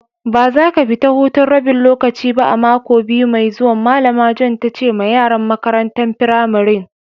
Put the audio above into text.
Ba za ka fita hutun rabin lokaci ba a'mako biyu mai zuwan! Malama Joan ta ce ma yaran makarantan firamarin.